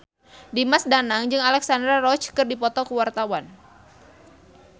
Dimas Danang jeung Alexandra Roach keur dipoto ku wartawan